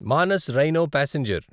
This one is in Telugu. Manas rhino passenger